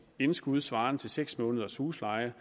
indskud svarende til seks måneders husleje